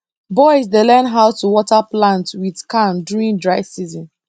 boys dey learn how to water plant with can during dry time